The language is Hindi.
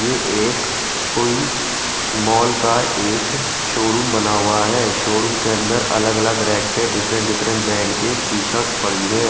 ये एक कोई मॉल का एक शोरूम बना हुआ है शोरूम के अंदर अलग अलग रेट पे डिफरेंट डिफरेंट ब्टीरांड की सर्ट पड़ी है।